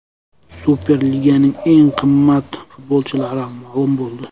Superliganing eng qimmat futbolchilari ma’lum bo‘ldi.